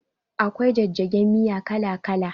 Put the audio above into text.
Akwai jajjagen miya kala kala